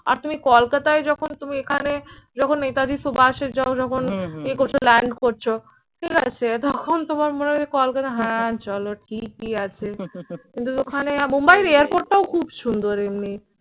আর তুমি কলকাতায় যখন তুমি এখানে যখন নেতাজি সুভাষ এ যাও যখন ইয়ে করছো land করছো ঠিক আছে তখন তোমার মনে হয় কলকাতা হ্যাঁ চলো ঠিকই আছে। কিন্তু ওখানে মুম্বাইয়ের airport টাও খুব সুন্দর এমনি